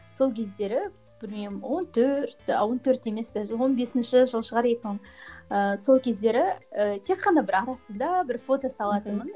сол кездері білмеймін он төрт ы он төрт емес даже он бесінші жыл шығар екі мың ыыы сол кездері і тек қана бір анда санда бір фото салатынмын